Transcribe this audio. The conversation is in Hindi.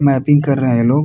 मैपिंग कर रहे हैं लोग।